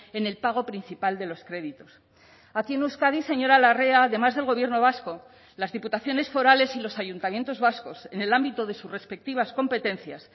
en el pago principal de los créditos aquí en euskadi señora larrea además del gobierno vasco las diputaciones forales y los ayuntamientos vascos en el ámbito de sus respectivas competencias